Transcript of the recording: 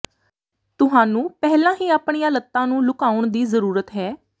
ਤੁਹਾਨੂੰ ਪਹਿਲਾਂ ਹੀ ਆਪਣੀਆਂ ਲੱਤਾਂ ਨੂੰ ਲੁਕਾਉਣ ਦੀ ਜ਼ਰੂਰਤ ਹੈ